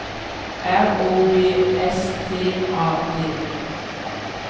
R O B S T A D